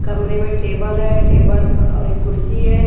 कमरे में टेबल है टेबल और एक कुर्सी है।